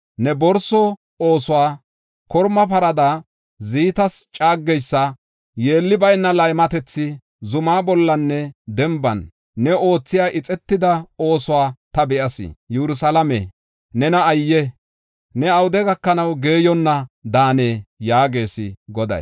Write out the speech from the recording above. Ne borso oosuwa, korma parada ziitas caageysa, yeelli bayna laymatethi, zuma bollanne denban ne oothiya ixetida oosuwa ta be7as. Yerusalaame, nena ayye! Ne awude gakanaw geeyonna daanee?” yaagees Goday.